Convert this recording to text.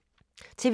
TV 2